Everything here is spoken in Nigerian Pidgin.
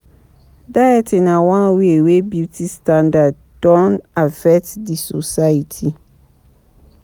Dieting na one wey wey beauty standard don affect di society